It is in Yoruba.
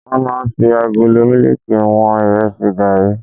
Wọ́n máa ń fi agolo mílíkì wọn Ìrẹsì, gààrí.